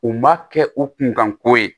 U ma kɛ u kunkanko ye